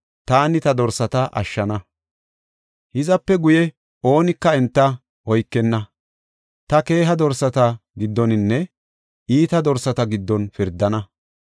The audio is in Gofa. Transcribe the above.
taani ta dorsata ashshana. Hizape guye oonika enta oykenna; ta keeha dorsata giddoninne iita dorsata giddon ta pirdana.